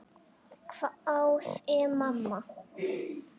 hváði mamma.